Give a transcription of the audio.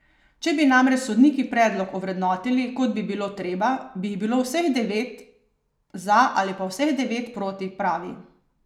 Če bi namreč sodniki predlog vrednotili, kot bi bilo treba, bi jih bilo vseh devet za ali pa vseh devet proti, pravi.